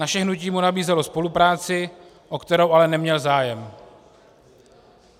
Naše hnutí mu nabízelo spolupráci, o kterou ale neměl zájem.